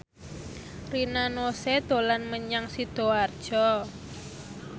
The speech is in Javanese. Rina Nose dolan menyang Sidoarjo